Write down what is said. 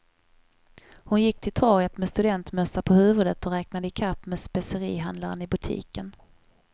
Hon gick till torget med studentmössa på huvudet och räknade ikapp med specerihandlaren i butiken.